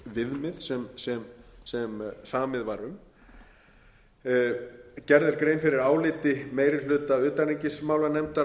viðmið sem samið var um gerð er grein fyrir áliti meiri hluta utanríkismálanefndar